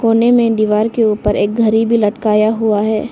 कोने में दीवार के ऊपर एक घड़ी भी लटकाया हुआ है।